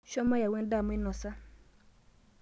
Shomo yau endaa mainosa.